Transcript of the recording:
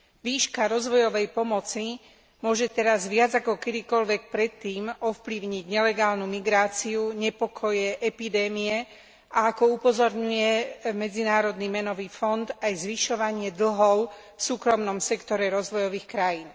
Výška rozvojovej pomoci môže teraz viac ako kedykoľvek predtým ovplyvniť nelegálnu migráciu, nepokoje, epidémie a ako upozorňuje Medzinárodný menový fond aj zvyšovanie dlhov v súkromnom sektore rozvojových krajín.